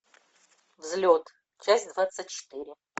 взлет часть двадцать четыре